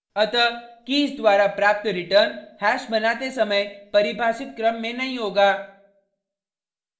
अतः कीज द्वारा प्राप्त रिटर्न हैश बनाते समय परिभाषित क्रम में नहीं होगा